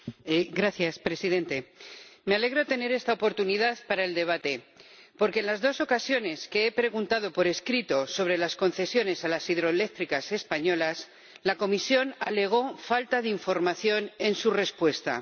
Señor Presidente, me alegra tener esta oportunidad para el debate, porque en las dos ocasiones que he preguntado por escrito sobre las concesiones a las hidroeléctricas españolas, la Comisión alegó falta de información en su respuesta.